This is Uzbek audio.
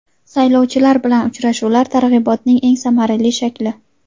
Saylovchilar bilan uchrashuvlar targ‘ibotning eng samarali shakli.